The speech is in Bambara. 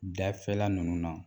Dafɛla nunnu na